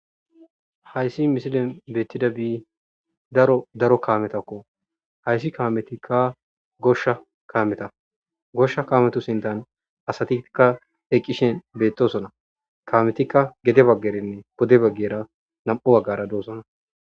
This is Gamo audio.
hayssi misilen beettidabi daro daro kaametakko hayssi kaametikka goshsha kameta goshsha kaametu sintan asatikka eqqishen beettosona kametikka gede baggerinne podde baggera nam'u baggara doosona